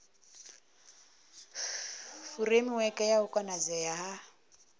furemiweke ya u konadzea ha